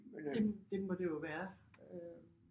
Det det må det jo være øh